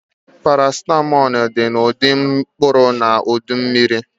Paracetamol dị na ụdị mkpụrụ na ụdị mmiri